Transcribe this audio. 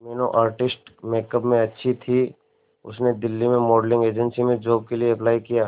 Meenu artistic makeup में अच्छी थी उसने दिल्ली में मॉडलिंग एजेंसी में जॉब के लिए अप्लाई किया